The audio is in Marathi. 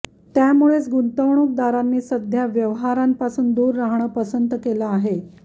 त्यामुळेच गुंतवणुकदारांनी सध्या व्यवहारांपासून दूर राहणं पसंत केलं आहे